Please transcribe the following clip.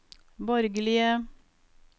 borgerlige